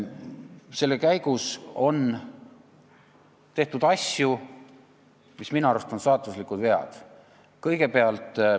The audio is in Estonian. Selle kõige käigus on tehtud asju, mis minu arust on saatuslikud vead.